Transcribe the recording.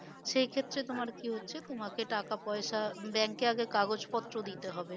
সেই ক্ষেত্রে তোমার কি হচ্ছে তোমাকে টাকা পয়সা bank এ আগে কাগজ পত্র দিতে হবে